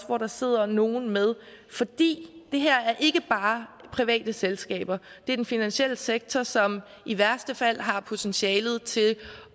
hvor der sidder nogle med for det her er ikke bare private selskaber det er den finansielle sektor som i værste fald har potentiale til